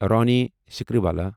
Ronnie Screwvala